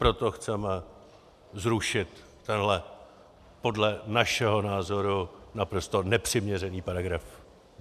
Proto chceme zrušit tenhle podle našeho názoru naprosto nepřiměřený paragraf.